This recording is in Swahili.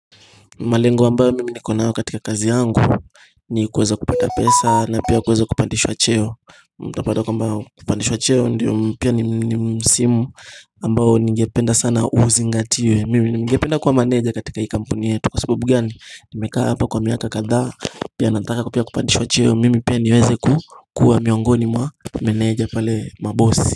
Malengo ambayo mimi nikonayo katika kazi yangu ni kuweza kupata pesa na pia kuweza kupandishwa cheo kwamba kupandishwa cheo pia ningependa sana uzingatiwe Mimi ningependa kuwa maneja katika hii kampuni yetu Kwa sababu gani nimekaa hapa kwa miaka kadhaa pia nataka kupandishwa cheo Mimi pia niweze kuwa miongoni mwa mameneja pale mabosi.